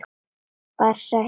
Farsælt líf.